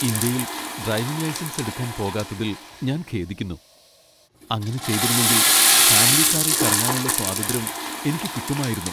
ഇന്ത്യയിൽ driving licence എടുക്കാൻ പോകാത്തതിൽ ഞാൻ ഖേദിക്കുന്നു. അങ്ങനെ ചെയ്തിരുന്നെങ്കിൽ ഫാമിലി കാറിൽ കറങ്ങാനുള്ള സ്വാതന്ത്ര്യം എനിക്ക് കിട്ടുമായിരുന്നു.